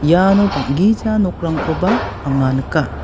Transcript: iano bang·gija nokrangkoba anga nika.